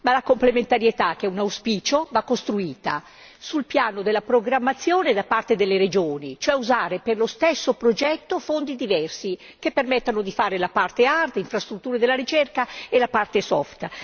Ma la complementarità, che è un auspicio, va costruita sul piano della programmazione da parte delle regioni, cioè usare per lo stesso progetto fondi diversi, che permettano di fare la parte hard delle infrastrutture della ricerca e la parte soft